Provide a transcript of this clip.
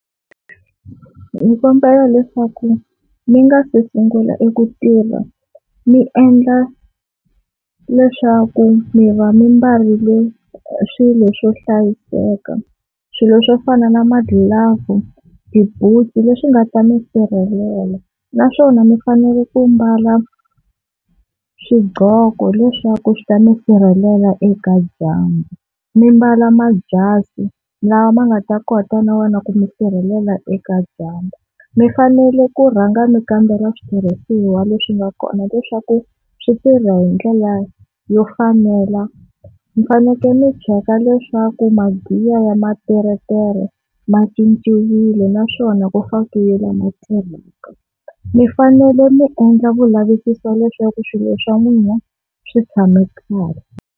Ndzi kombela leswaku mi nga se sungula eku tirha mi endla leswaku mi va mi mbarile swilo swo hlayiseka, swilo swo fana na magilavhu, tibutsu leswi nga ta mi sirhelela naswona mi fanele ku mbala swiqgoko leswaku swi ta mi sirhelela eka dyambu, mi mbala majasi lama ma nga ta kota ku mi sirhelela eka dyandza. Mi fanele ku rhanga mi kambela switirhisiwa leswi nga kona leswaku swi tirha hi ndlela yo fanela mi fanekele mi cheka leswaku magiya ya materetere ma cinciwile naswona ku fakiwile mi fanele mi endla vu lavisisi leswaku swilo swa n'wina swi tshame kahle.